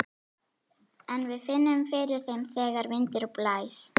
En við finnum fyrir þeim þegar vindur blæs.